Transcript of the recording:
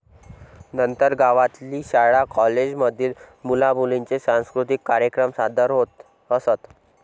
नंतर गावातील शाळा कॉलेज मधील मुला मुलींचे सांस्कृतिक कार्यक्रम सादर होत असत.